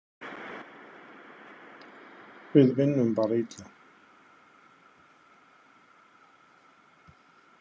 Við vinnum bara illa.